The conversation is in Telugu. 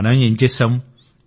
మనం ఏం చేశాం